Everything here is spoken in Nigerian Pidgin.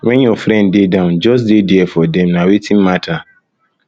when your friend dey down just dey there for dem na wetin matter